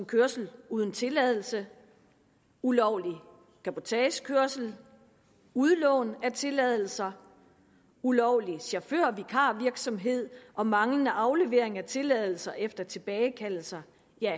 kørsel uden tilladelse ulovlig cabotagekørsel udlån af tilladelser ulovlig chaufførvikarvirksomhed og manglende aflevering af tilladelser efter tilbagekaldelser